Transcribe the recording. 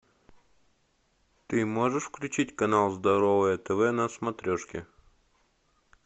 ты можешь включить канал здоровое тв на смотрешке